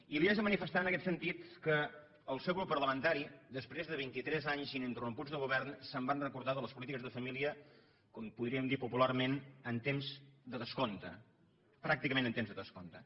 i li haig de manifestar en aquest sentit que el seu grup parlamentari després de vintitres anys ininterromputs de govern se’n van recordar de les polítiques de família com podríem dir popularment en temps de descompte pràcticament en temps de descompte